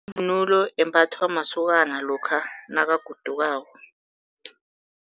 Yivunulo embathwa masokana lokha nakagodukako.